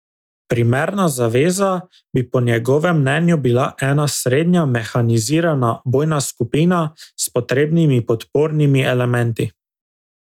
Primerna zaveza bi po njegovem mnenju bila ena srednja mehanizirana bojna skupina s potrebnimi podpornimi elementi.